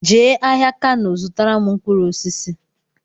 Jee ahịa Kano zụtara m mkpụrụ osisi!